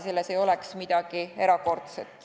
Selles ei oleks midagi erakordset.